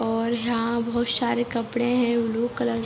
और यहां बहुत सारे कपड़े है ब्‍लू कलर --